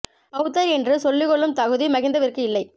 பெளத்தர் என்று சொல்லிக் கொள்ளும் தகுதி மஹிந்தவிற்கு இல்லை